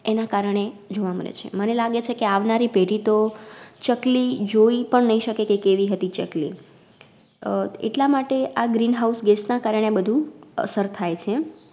એના કારણે જોવા મલે છે. મને લાગે છે કે, આવનારી પેઢી તો ચકલી જોઈ પન નઇ શકે કે કેવી હતી ચકલી અમ એટલામાટે આ Green house gas ના કારણે આ બધુ અસર થાય છે